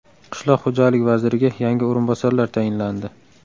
Qishloq xo‘jaligi vaziriga yangi o‘rinbosarlar tayinlandi.